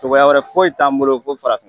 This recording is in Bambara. Cogoya wɛrɛ foyi t'an bolo fo farafin